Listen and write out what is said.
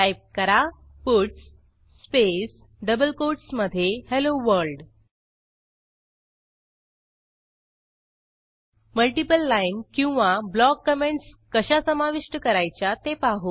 type करा puts space double कोटसमधे hello world multiple line किंवा ब्लॉक कॉमेंटस कशा समाविष्ट करायच्या ते पाहू